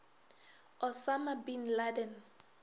osama bin laden